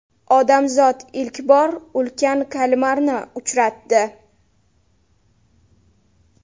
Odamzod ilk bor ulkan kalmarni uchratdi .